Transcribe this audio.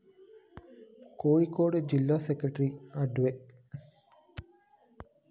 കോഴിക്കോട് ജില്ലാ സെക്രട്ടറി അഡ്വ